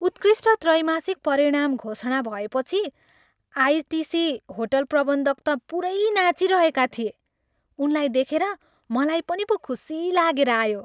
उत्कृष्ट त्रैमासिक परिणाम घोषणा भएपछि आइटिसी होटल प्रबन्धक त पुरै नाचिरहेका थिए। उनलाई देखेर मलाई पनि पो खुसी लागेर आयो।